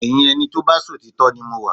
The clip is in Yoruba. Ẹyin ẹni tó bá ṣòtítọ́ ni mo wà